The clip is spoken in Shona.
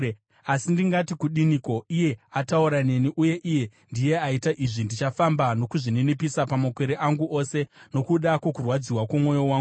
Asi ndingati kudiniko? Iye ataura neni, uye iye ndiye aita izvi. Ndichafamba nokuzvininipisa pamakore angu ose, nokuda kwokurwadziwa kwomwoyo wangu.